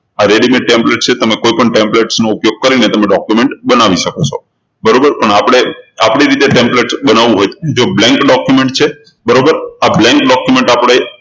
આ readymade template છે તમે કોઈપણ templates નો ઉપયોગ કરીને તમે documents બનાવી શકો છો બરોબર પણ આપણે આપણી રીતે templates બનાવવું હોય તો જુઓ blank document છે બરોબર આ blank document આપણે